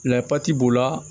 Layipatiti b'o la